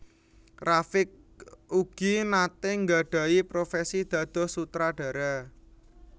Rafiq ugi naté nggadhahi profesi dados sutradara